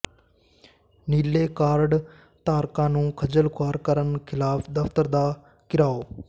ਨੀਲੇ ਕਾਰਡ ਧਾਰਕਾਂ ਨੂੰ ਖੱਜਲ ਖੁਆਰ ਕਰਨ ਖ਼ਿਲਾਫ਼ ਦਫ਼ਤਰ ਦਾ ਘਿਰਾਓ